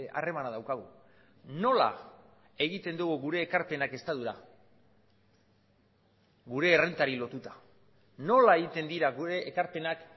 harremana daukagu nola egiten dugu gure ekarpenak estatura gure errentari lotuta nola egiten dira gure ekarpenak